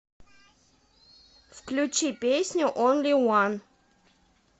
включи песню онли ван